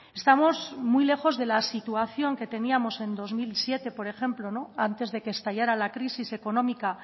estamos muy lejos de la situación que teníamos en dos mil siete por ejemplo antes de que estallara la crisis económica